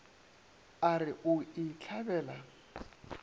a re o e hlabela